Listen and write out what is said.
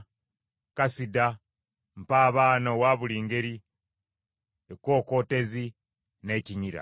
kasida, mpabaana owa buli ngeri, ekkookootezi, n’ekinyira.